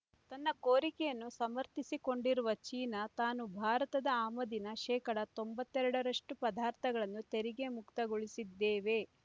ತನ್ನ ಕೋರಿಕೆಯನ್ನು ಸಮರ್ಥಿಸಿಕೊಂಡಿರುವ ಚೀನಾ ತಾನು ಭಾರತದ ಆಮದಿನ ಶೇಕಡಾ ತೊಂಬತ್ತೆರಡು ರಷ್ಟು ಪದಾರ್ಥಗಳನ್ನು ತೆರಿಗೆ ಮುಕ್ತಗೊಳಿಸಿದ್ದೇವೆ